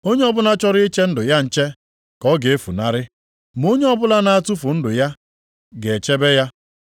Onye ọbụla chọrọ iche ndụ ya nche ka ọ ga-efunarị, ma onye ọbụla na-atụfu ndụ ya ga-echebe ya.